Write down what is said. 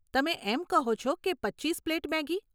તમે એમ કહો છો કે પચીસ પ્લેટ મેગી?